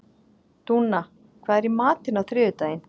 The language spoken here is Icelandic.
Dúnna, hvað er í matinn á þriðjudaginn?